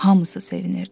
Hamısı sevinirdi.